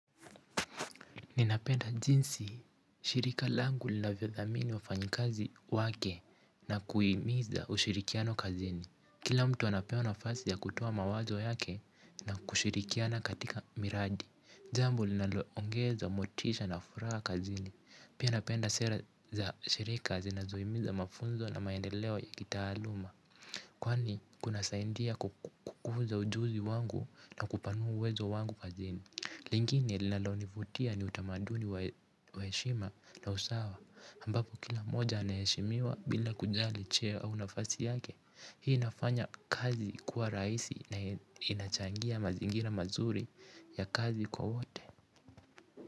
Ninapenda jinsi shirika langu linavyo dhamini wa fanyikazi wake na kuhimiza ushirikiano kazini. Kila mtu anapewa nafasi ya kutoa mawazo yake na kushirikiana katika miradi. Jambo linaloongeza motisha na furaha kazini. Pia napenda sera za shirika zinazohimiza mafunzo na maendeleo ya kitaaluma. Kwani kuna saidia kukuza ujuzi wangu na kupanua uwezo wangu kazini. Lingine linalonivutia ni utamaduni wa heshima na usawa ambapo kila mmoja anaheshimiwa bila kujali cheo au nafasi yake. Hii inafanya kazi kuwa rahisi na inachangia mazingira mazuri ya kazi kwa wote.